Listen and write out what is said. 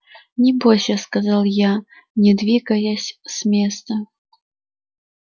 не бойся сказал я не двигаясь с места